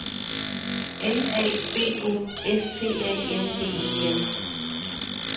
N A B O S T A N D E N